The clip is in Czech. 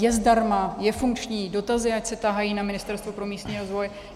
Je zdarma, je funkční, dotazy ať se tahají na Ministerstvo pro místní rozvoj.